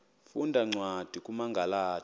funda cwadi kumagalati